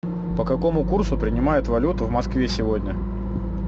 по какому курсу принимают валюту в москве сегодня